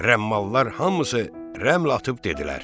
Rəmmallar hamısı rəml atıb dedilər: